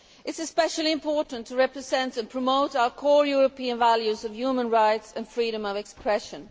It is especially important to represent and promote our core European values of human rights and freedom of expression.